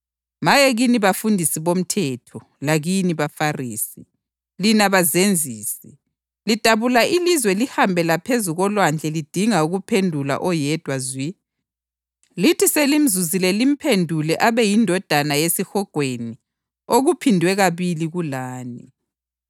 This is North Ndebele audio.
Maye kini bafundisi bomthetho lakini baFarisi, lina bazenzisi! Lidabula ilizwe lihambe laphezu kolwandle lidinga ukuphendula oyedwa zwi, lithi selimzuzile limphendule abe yindodana yesihogweni okuphindwe kabili kulani.